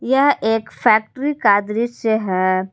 यह एक फैक्ट्री का दृश्य है।